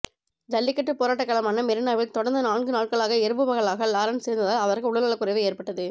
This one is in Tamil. ஜல்லிக்கட்டு போராட்டக் களமான மெரீனாவில் தொடர்ந்து நான்கு நாட்களாக இரவு பகலாக லாரன்ஸ் இருந்ததால் அவருக்கு உடல் நலக்குறைவு ஏற்பட்டது